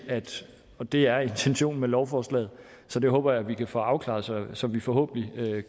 og det er intentionen med lovforslaget så det håber jeg vi kan få afklaret så vi forhåbentlig